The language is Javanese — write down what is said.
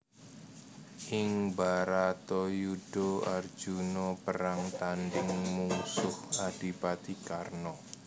Ing Bharatayudha Arjuna perang tandhing mungsuh Adipati Karna